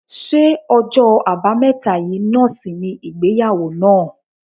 Ṣé ọjọ́ àbámẹ́ta yìí náà sì ni ìgbéyàwó náà?